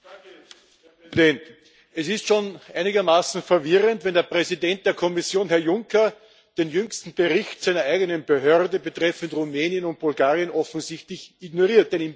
Herr Präsident! Es ist schon einigermaßen verwirrend, wenn der Präsident der Kommission, Herr Juncker, den jüngsten Bericht seiner eigenen Behörde betreffend Rumänien und Bulgarien offensichtlich ignoriert.